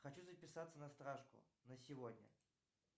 хочу записаться на стрижку на сегодня